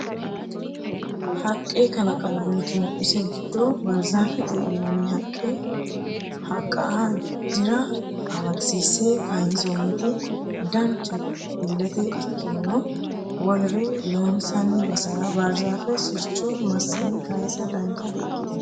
Haqqe kalaqamuti no ise giddo barizafete yinanni haqqa dira amadisiise kayinsonniti danchate ilete ikkirono wolere loosi'nanni basera barizafete sircho massine kaysa dancha di"ikkitino.